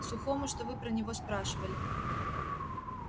сухому что вы про него спрашивали